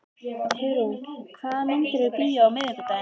Hugrún, hvaða myndir eru í bíó á miðvikudaginn?